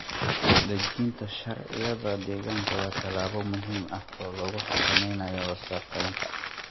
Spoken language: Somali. Dejinta sharciyada deegaanka waa tallaabo muhiim ah oo lagu xakameynayo wasakheynta.